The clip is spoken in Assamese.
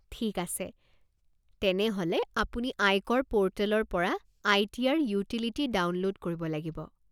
ঠিক আছে, তেনেহ'লে আপুনি আয়কৰ পৰ্টেলৰ পৰা আই.টি.আৰ. ইউটিলিটি ডাউনলোড কৰিব লাগিব।